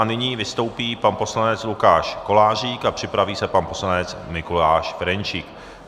A nyní vystoupí pan poslanec Lukáš Kolářík a připraví se pan poslanec Mikuláš Ferjenčík.